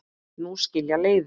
Nú skilja leiðir.